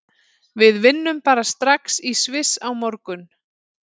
Við vinnum bara strax í Sviss á morgun.